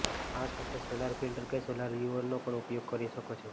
આ સાથે solar filter કે સોલર વ્યૂઅરનો પણ ઉપયોગ કરી શકો છો